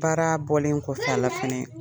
Baara bɔlen kɔfɛ a la fɛnɛ